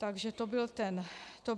Takže to byl ten důvod.